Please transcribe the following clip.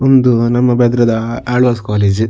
ಉಂದು ನಮ್ಮ ಬೆದ್ರದ ಆಳ್ವಾಸ್ ಕೋಲೇಜ್ .